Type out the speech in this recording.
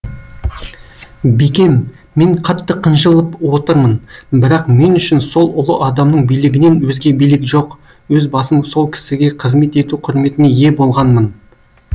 бикем мен қатты қынжылып отырмын бірақ мен үшін сол ұлы адамның билігінен өзге билік жоқ өз басым сол кісіге қызмет ету құрметіне ие болғанмын